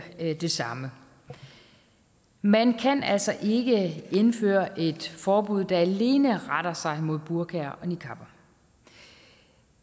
det samme man kan altså ikke indføre et forbud der alene retter sig mod burkaer og niqabber